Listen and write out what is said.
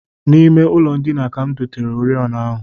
N'ime ụlọndina m ka m dotere oriọna ahụ